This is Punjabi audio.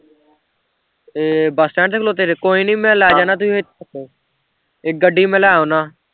ਏਹ bus stand ਤੇ ਖਲੋਤੇ ਜੇ ਕੋਈ ਨੀ ਮੈਂ ਲੈ ਜਾਂਦਾ ਤੁਸੀਂ ਏ ਗੱਡੀ ਮੈਂ ਲੈ ਆਉਂਦਾ